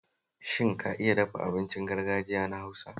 Shin ka iya dafa abincin gargajiya na Hausa?